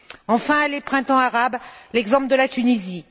Enfin, les printemps arabes et l'exemple de la Tunisie.